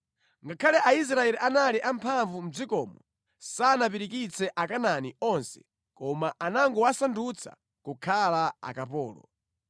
Ngakhale Aisraeli anali a mphamvu mʼdzikomo, sanapirikitse Akanaani onse koma anangowasandutsa kukhala akapolo.